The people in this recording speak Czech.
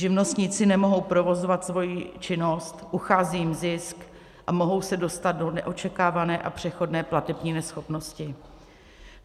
Živnostníci nemohou provozovat svoji činnost, uchází jim zisk a mohou se dostat do neočekávané a přechodné platební neschopnosti.